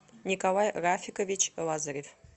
николай рафикович лазарев